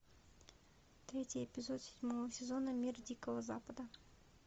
третий эпизод седьмого сезона мир дикого запада